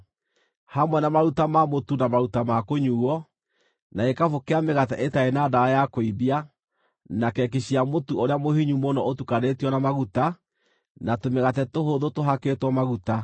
hamwe na maruta ma mũtu na maruta ma kũnyuuo, na gĩkabũ kĩa mĩgate ĩtarĩ na ndawa ya kũimbia, na keki cia mũtu ũrĩa mũhinyu mũno ũtukanĩtio na maguta, na tũmĩgate tũhũthũ tũhakĩtwo maguta.